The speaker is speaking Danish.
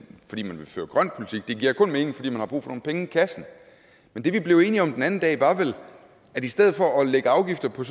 grøn politik det giver kun mening fordi man har brug for nogle penge i kassen men det vi blev enige om den anden dag var vel at i stedet for at lægge afgifter på